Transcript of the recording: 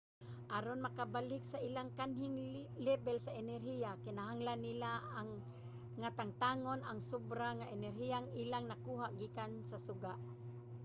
aron makabalik sa ilang kanhing lebel sa enerhiya kinahanglan nila nga tangtangon ang sobra nga enerhiyang ilang nakuha gikan sa suga